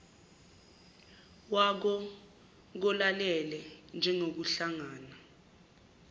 wako kolalele njengokuhlangana